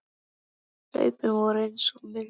En hlaupin voru eins og mild hönd